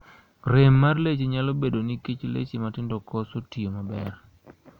Rem mar leche nyalo bedo nikech leche matindokoso tiyo maber.